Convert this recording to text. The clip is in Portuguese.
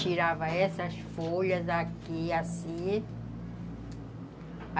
Tirava essas folhas aqui, assim.